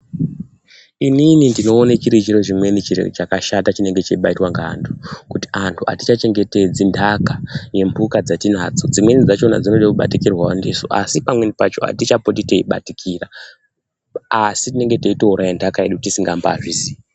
Inini ndinoone chiri chiro chimweni chiro chakashata chinenge cheibaaitwa ngeantu kuti antu hatichachengetedzi ndaka yemhuka dzatinadzo. Dzimweni dzachona dzinode kubatikirwawo ndisu, asi pamweni pacho hatichapoti teibatikira, asi tinenge teitoiraya ntaka yedu tisingambaazvizii.